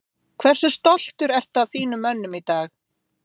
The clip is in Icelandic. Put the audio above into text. Kjartan: Hversu stoltur ertu að þínum mönnum í dag?